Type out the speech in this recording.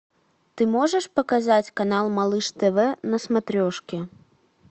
ты можешь показать канал малыш тв на смотрешке